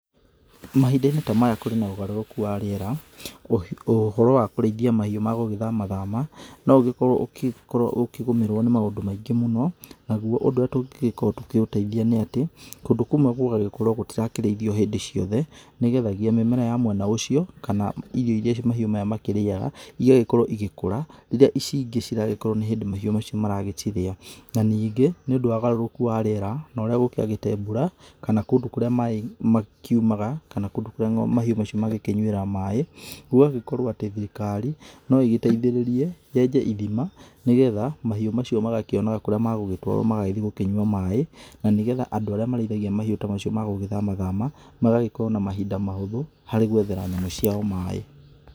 Mahinda-inĩ ta maya kũrĩ na ũgarũrũku wa rĩera ũhoro wa kũraithia mahiũ magũgĩthama thama no ũgĩkorwo ũkĩgũmĩrwo nĩ maũndũ maingĩ mũno, nagũo ũndũ ũria tũkĩkorwo tũkĩũteithia nĩ atĩ kũndũ kũmwe gũgagĩkorwo gũtirakĩraithio hĩndĩ ciothe nĩgethagia mĩmera ya mwena ũcio kana irio iria mahiu maya makĩriaga igagĩkorwo igĩkora rĩria ici ingĩ ciragĩkorwo nĩ hĩndĩ mahiũ macio maragĩciria, na ningĩ nĩ ũndũ wa ũgarũrũku wa riera na ũria kwagĩte mbura kana kũndũ kũria maĩ makĩumaga kana kũndũ kũria mahiũ mau mangĩnyuira maĩ, gũgagĩkorwo atĩ thirikari no ĩgĩteithĩrĩrie yenje irima nĩgetha mahiũ macio magakĩona kũria magũgĩtwarwo magagĩthiĩ kũnywa maĩ na nĩgetha andũ aria marĩithagia mahiũ ta macio magũgĩthama thama magagĩkorwo na mahinda mahũthũ harĩ gwethera ng'ombe ciao maĩ.